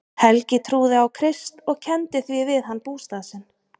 Helgi trúði á Krist og kenndi því við hann bústað sinn.